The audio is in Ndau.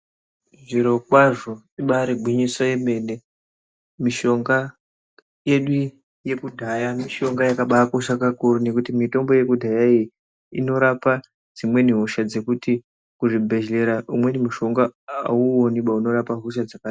Zvirokwazvo ibaari gwinyiso remene mishonga yedu yekudhaya ibaari mitomno yakakosha ngekuti mitombo yekudhaya iyi inorapa dzimweni hoshadekuti kuzvibhehlera umweni mushonga hauuoniba unorapa hoshadzo dzakadaro